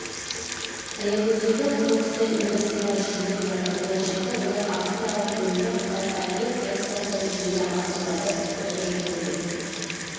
аягөздегі құрылысты инвесторлар жүргізіп жатыр болашақта олар австралиялық брендпен қытайға ет экспорттауды жүзеге асырады осы жөнінде